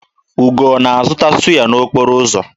Ugo na-azụta sụ́yá n'okporo ụzọ?